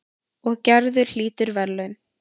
Og Gerður hlýtur verðlaun.